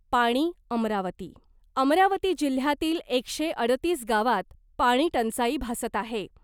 पाणी, अमरावती, अमरावती जिल्ह्यातील एकशे अडतीस गावात पाणीटंचाई भासत आहे .